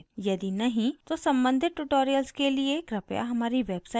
यदि नहीं तो सम्बंधित tutorials के लिए कृपया हमारी website पर जाएँ